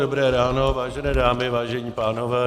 Dobré ráno, vážené dámy, vážení pánové.